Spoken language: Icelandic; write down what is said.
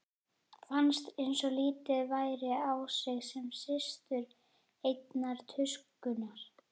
Fannst einsog litið væri á sig sem systur einnar tuskunnar.